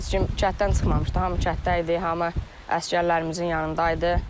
Heç kim kənddən çıxmamışdı, hamı kənddə idi, hamı əsgərlərimizin yanında idi.